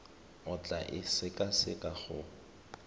o tla e sekaseka go